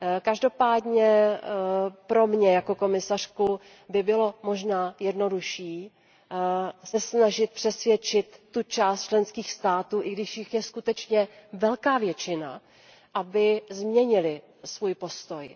Každopádně pro mě jako komisařku by bylo možná jednodušší se snažit přesvědčit část členských států, i když jich je skutečně velká většina, aby změnily svůj postoj.